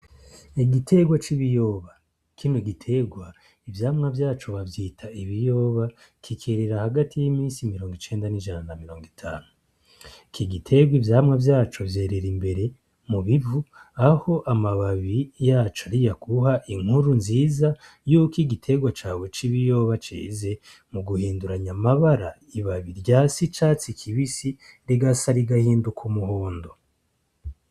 Igitegwa c'ibiyoba kinu igiterwa ivyamwa vyaco bavyita ibiyoba kikerera hagati y'imisi mirongo icenda n'ijana na mirongo itanu kigiterwa ivyamwa vyaco vyerera imbere mu bivu aho amababi yacu ari ya aguha inkuru nziza yuko igiterwa cawe c'ibiyoba jeze mu guhinduranya amabara ibaba rya si catsi kibisi regasi arigahinduka umuhondo.